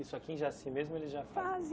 Isso aqui já assim mesmo eles já Fazem